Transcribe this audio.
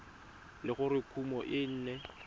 le gore kumo e ne